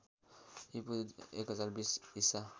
ईपू १०२० ईसा